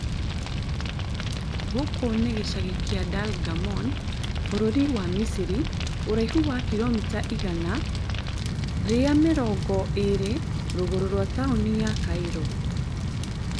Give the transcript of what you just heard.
Gũkũ nĩ gĩcagi kĩa Dalgamon bũrũri wa Misiri, ũraihu wa kilomita igana rĩa mĩrongo ĩrĩ rũgũrũ twa taoni ya Cairo